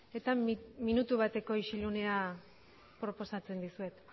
eta minutu bateko isilunea proposatzen dizuet